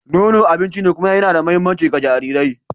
Nono abinci ne kuma yana da mahimmanci ga jarirai.